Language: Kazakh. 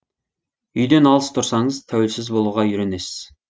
үйден алыс тұрсаңыз тәуелсіз болуға үйренесіз